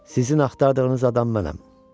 Sizin axtardığınız adam mənəm.